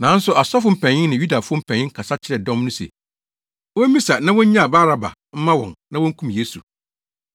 Nanso asɔfo mpanyin ne Yudafo mpanyin kasa kyerɛɛ dɔm no se, wommisa na wonnyaa Baraba mma wɔn na wonkum Yesu.